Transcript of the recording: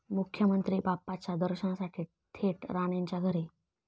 मुख्यमंत्री बाप्पाच्या दर्शनासाठी थेट राणेंच्या घरी!